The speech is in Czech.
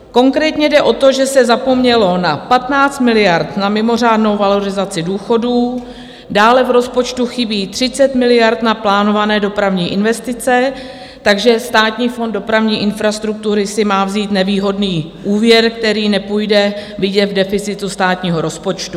Konkrétně jde o to, že se zapomnělo na 15 miliard na mimořádnou valorizaci důchodů, dále v rozpočtu chybí 30 miliard na plánované dopravní investice, takže Státní fond dopravní infrastruktury si má vzít nevýhodný úvěr, který nepůjde vidět v deficitu státního rozpočtu.